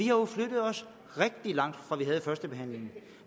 jo flyttet os rigtig langt fra vi havde førstebehandlingen